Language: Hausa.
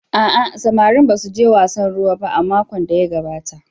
A'a, samarin ba suje wasan ruwa ba a makon da ya gabata.